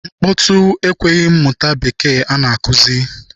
Nkpọtụ ekweghị m mụta bekee a na-akụzi.